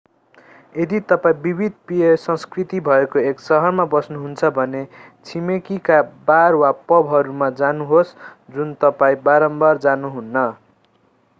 यदि तपाईं विविध पेय संस्कृति भएको एक सहरमा बस्नुहुन्छ भने छिमेकीका बार वा पबहरूमा जानुहोस् जुन तपाईँ बारम्बार गर्नुहुन्न